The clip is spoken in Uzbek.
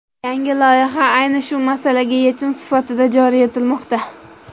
Yangi loyiha ayni shu masalaga yechim sifatida joriy etilmoqda.